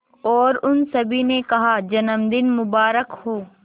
और उन सभी ने कहा जन्मदिन मुबारक हो